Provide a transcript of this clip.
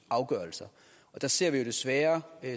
afgørelser og der ser vi desværre